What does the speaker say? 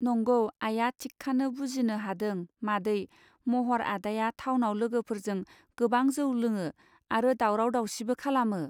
नंगौ आइआ थिकखानो बुजिनो हादों मादै महर आदाया थावनाव लोगोफोरजों गोबां जौ लोङो आरो दावराव दावसिबो खालामो.